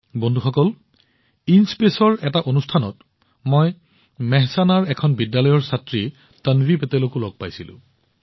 বন্ধুসকল ইনস্পেচৰ ভিতৰত অনুষ্ঠিত অনুষ্ঠানটোত মই মেহছানাৰ বিদ্যালয়ৰ ছাত্ৰী কন্যা তানভি পেটেলকো লগ পাইছিলো